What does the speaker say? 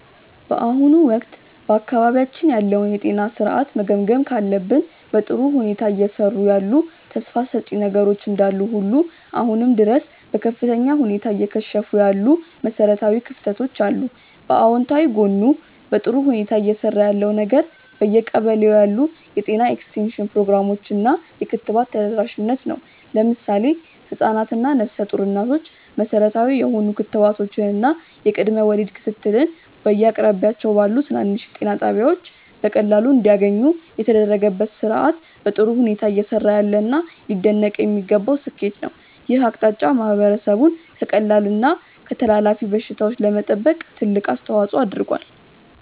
በአሁኑ ወቅት በአካባቢያችን ያለውን የጤና ሥርዓት መገምገም ካለብን፣ በጥሩ ሁኔታ እየሰሩ ያሉ ተስፋ ሰጪ ነገሮች እንዳሉ ሁሉ አሁንም ድረስ በከፍተኛ ሁኔታ እየከሸፉ ያሉ መሠረታዊ ክፍተቶች አሉ። በአዎንታዊ ጎኑ በጥሩ ሁኔታ እየሰራ ያለው ነገር በየቀበሌው ያሉ የጤና ኤክስቴንሽን ፕሮግራሞች እና የክትባት ተደራሽነት ነው። ለምሳሌ ህፃናት እና ነፍሰ ጡር እናቶች መሠረታዊ የሆኑ ክትባቶችን እና የቅድመ ወሊድ ክትትልን በየአቅራቢያቸው ባሉ ትናንሽ ጤና ጣቢያዎች በቀላሉ እንዲያገኙ የተደረገበት ሥርዓት በጥሩ ሁኔታ እየሰራ ያለና ሊደነቅ የሚገባው ስኬት ነው። ይህ አቅጣጫ ማህበረሰቡን ከቀላል እና ከተላላፊ በሽታዎች ለመጠበቅ ትልቅ አስተዋፅዖ አድርጓል።